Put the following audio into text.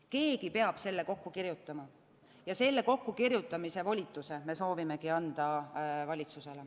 Keegi peab selle kokku kirjutama ja selle kokkukirjutamise volituse me soovimegi anda ekspertide kaudu valitsusele.